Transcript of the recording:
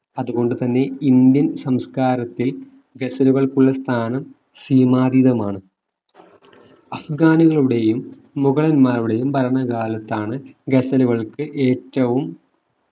അതുകൊണ്ടുതന്നെ ഇന്ത്യൻ സംസ്കാരത്തിൽ ഗസലുകൾക്കുള്ള സ്ഥാനം സീമാതീതമാണ് അഫ്‌ഗാനികളുടെയും മുഗളന്മാരുടെയും ഭരണകാലത്താണ് ഗസലുകൾക്ക് ഏറ്റവും